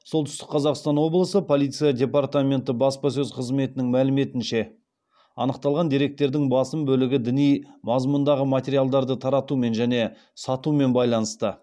солтүстік қазақстан облысы полиция департаменті баспасөз қызметінің мәліметінше анықталған деректердің басым бөлігі діни мазмұндағы материалдарды таратумен және сатумен байланысты